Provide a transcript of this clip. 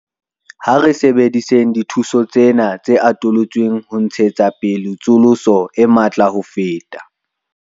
Ha re sebedisetseng dithuso tsena tse atolotsweng ho ntshetsa pele tsosoloso e matla ho feta.